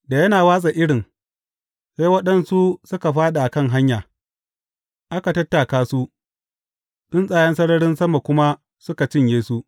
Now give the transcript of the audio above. Da yana watsa irin, sai waɗansu suka fāɗi a kan hanya, aka tattaka su, tsuntsayen sararin sama kuma suka cinye su.